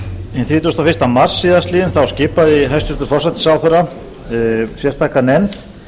hinn þrítugasta og fyrsta mars síðastliðnum skipaði hæstvirtur forsætisráðherra sérstaka nefnd